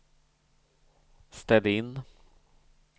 ställ in